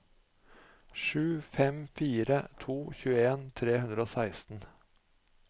sju fem fire to tjueen tre hundre og seksten